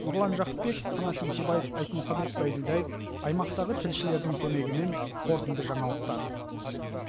нұрлан жақыпбеков қанат еңсебаев айтмұхамед байділдаев аймақтағы тілшілердің көмегімен қорытынды жаңалықтар